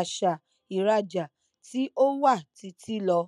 àṣà ìrajà tí ó wà títí lọ